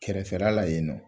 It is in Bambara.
Kɛrɛfɛla la yen nɔ.